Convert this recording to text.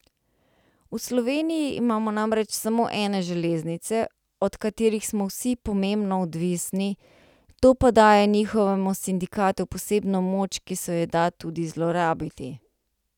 V Sloveniji imamo namreč samo ene železnice, od katerih smo vsi pomembno odvisni, to pa daje njihovemu sindikatu posebno moč, ki se jo da tudi zlorabiti.